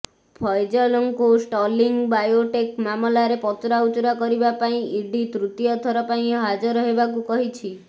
ଫୈଜଲଙ୍କୁ Sterling Biotech ମାମଲାରେ ପଚରାଉଚରା କରିବା ପାଇଁ ଇଡି ତୃତୀୟ ଥର ପାଇଁ ହାଜର ହେବାକୁ କହିିଛି